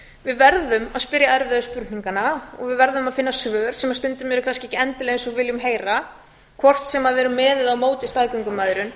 við verðum að spyrja erfiðu spurninganna og við verðum að finna svör sem stundum eru kannski ekki endilega eins og við viljum heyra hvort sem við erum með eða á móti staðgöngumæðrun